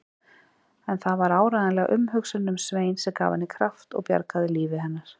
En það var áreiðanlega umhugsunin um Svein sem gaf henni kraft og bjargaði lífi hennar.